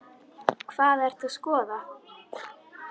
Hvað ertu að skoða?